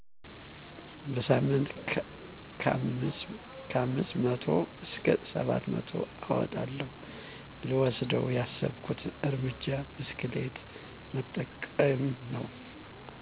በሳምንት ከ5መቶ እስከ 7መቶ አወጣለሁ። ልወስደው ያሰብኩት እርምጃ ብስክሌት መጠቀም ነው።